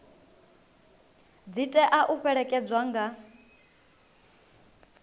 dzi tea u fhelekedzwa nga